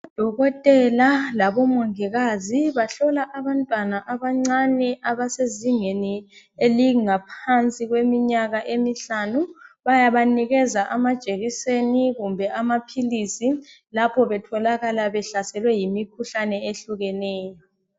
Odokotela labomongikazi bahlola abantwana abancane abasezingeni elingaphansi kweminyaka emihlanu. Bayabanikeza amajekiseni kumbe amaphilisi lapho betholakala behlaselwe yimikhuhlane ehlukeneyo.